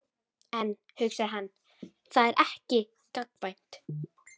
En, hugsaði hann, það er ekki gagnkvæmt.